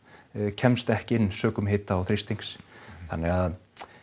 kemst ekki inn sökum hita og þrýstings þannig að